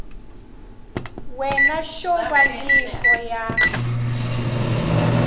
wena xo va nyiko ya